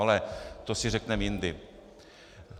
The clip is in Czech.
Ale to si řekneme jindy.